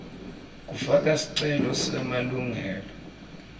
kufaka sicelo semalungelo